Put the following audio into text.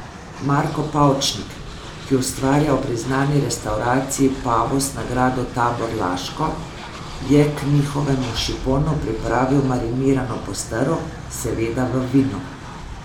Marko Pavčnik, ki ustvarja v priznani restavraciji Pavus na Gradu Tabor Laško, je k njihovemu šiponu pripravil marinirano postrv, seveda v vinu.